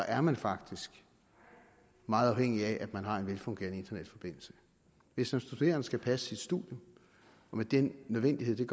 er man faktisk meget afhængig af at man har en velfungerende internetforbindelse hvis en studerende skal passe sit studium og med den nødvendighed der